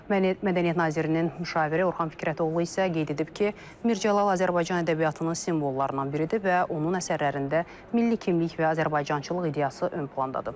Mədəniyyət Nazirliyinin müşaviri Orxan Fikrətoğlu isə qeyd edib ki, Mirzəcəlal Azərbaycan ədəbiyyatının simvollarından biridir və onun əsərlərində milli kimlik və azərbaycançılıq ideyası ön plandadır.